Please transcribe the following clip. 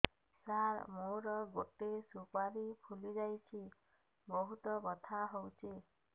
ସାର ମୋର ଗୋଟେ ସୁପାରୀ ଫୁଲିଯାଇଛି ବହୁତ ବଥା ହଉଛି